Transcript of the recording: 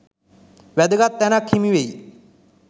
වැදගත් තැනක් හිමි වෙයි.